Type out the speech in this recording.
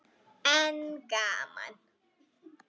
En gaman!